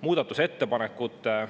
Muudatusettepanekute